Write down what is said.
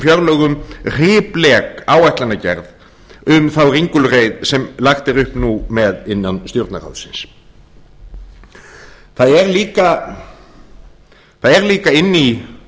fjárlögum hriplek áætlanagerð um þá ringulreið sem lagt er upp nú með innan stjórnarráðsins það er líka inni í